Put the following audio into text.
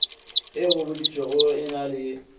e gobaditšwego e na le